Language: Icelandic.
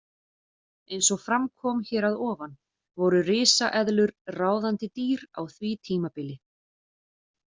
Eins og fram kom hér að ofan voru risaeðlur ráðandi dýr á því tímabili.